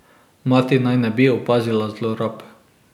Mati naj ne bi opazila zlorab.